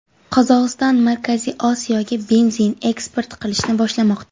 Qozog‘iston Markaziy Osiyoga benzin eksport qilishni boshlamoqda.